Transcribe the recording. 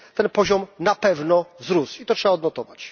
Ten poziom na pewno wzrósł i to trzeba odnotować.